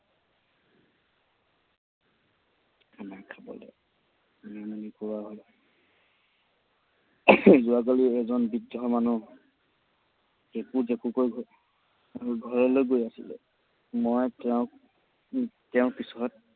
খানা খাবলৈ। যোৱাকালি এজন বৃদ্ধ মানুহ কেঁকো জেকোকৈ ঘৰ ঘৰলৈ গৈ আছিলে। মই তেওঁক তেওঁৰ পিছত